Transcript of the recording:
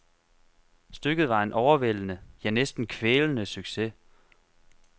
Stykket var en overvældende, ja næsten kvælende succes.